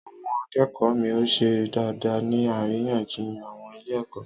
Àwon akékòó mi ò ṣe dáadáa ní àríyànjiyàn àwon ilé èkó